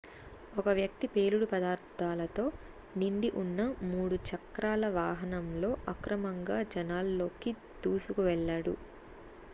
ఒక వ్యక్తి పేలుడు పదార్ధాలతో నిండి ఉన్న 3 చక్రాల వాహనంతో అక్రమంగా జనాల్లోకి దూసుకు వెళ్ళాడు